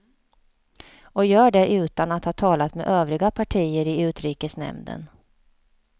Och gör det utan att ha talat med övriga partier i utrikesnämnden.